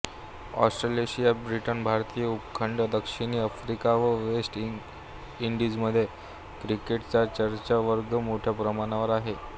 Australasia Britain भारतीय उपखंड दक्षिणी आफ्रिका आणि वेस्ट इंडीजमध्ये क्रिकेटचा चाहतावर्ग मोठ्या प्रमाणावर आहे